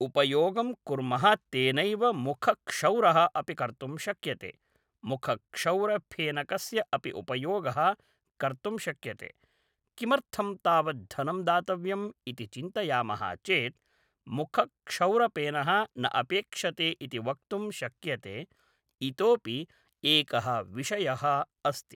उपयोगं कुर्मः तेनैव मुखक्षौरः अपि कर्तुं शक्यते मुखक्षौरफेनकस्य अपि उपयोगः कर्तुं शक्यते किमर्थं तावत् धनं दातव्यम्‌ इति चिन्तयामः चेत् मुखक्षौरफेनः न अपेक्षते इति वक्तुं शक्यते इतोऽपि एकः विषयः अस्ति